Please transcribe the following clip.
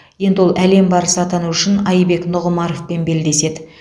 енді ол әлем барысы атану үшін айбек нұғымаровпен белдеседі